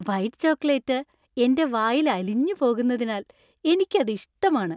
White chocolate എന്‍റെ വായിൽ അലിഞ്ഞു പോകുന്നതിനാൽ എനിക്ക് അത് ഇഷ്ടമാണ്.